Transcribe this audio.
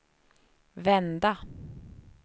vända